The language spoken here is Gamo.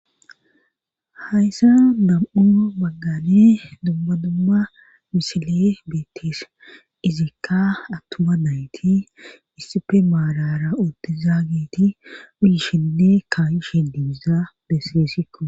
hayssa nam7u baggan dumma dumma misiley beettes izikka attuma nayti issipe maarara uti zaageti uyishinne kaayishe diiza besgesikko